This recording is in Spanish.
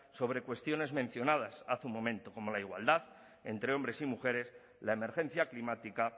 sobre cuestiones mencionadas hace un momento como la igualdad entre hombres y mujeres la emergencia climática